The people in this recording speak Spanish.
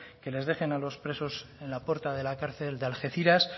que les dejen a los presos en la puerta de la cárcel de algeciras